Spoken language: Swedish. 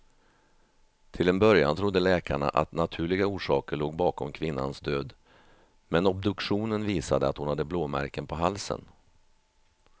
Till en början trodde läkarna att naturliga orsaker låg bakom kvinnans död, men obduktionen visade att hon hade blåmärken på halsen.